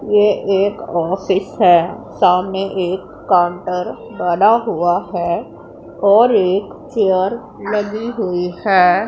ये एक ऑफिस है सामने एक काउंटर बना हुआ है और एक चेयर लगी हुई है।